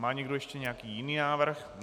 Má někdo ještě nějaký jiný návrh?